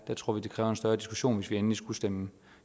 der tror vi det kræver en større diskussion hvis vi endelig skulle stemme